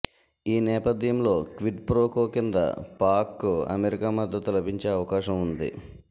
ఈ నేపథ్యంలో క్విడ్ప్రోకో కింద పాక్కు అమెరికా మద్దతు లభించే అవకాశం ఉంది